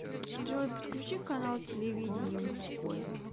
джой подключи канал телевидения мужской